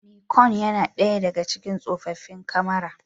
Nikon yana ɗaya daga cikin tsoffin kamara.